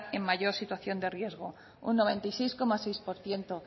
en mayor situación de riesgo un noventa y seis coma seis por ciento